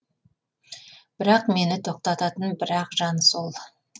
бірақ мені тоқтататын бір ақ жан сол